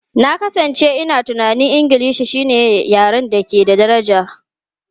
Na kasance ina tunanin Ingilishi shine yaren da ke da daraja.